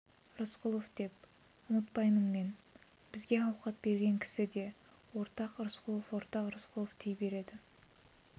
рысқұлов деп ұмытпаймын мен бізге ауқат берген кісі де ортақ рысқұлов ортақ рысқұлов дей береді